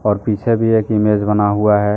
और पीछे भी एक इमेज बना हुआ है।